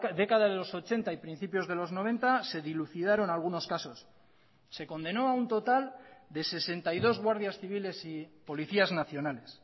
década de los ochenta y principios de los noventa se dilucidaron algunos casos se condenó a un total de sesenta y dos guardias civiles y policías nacionales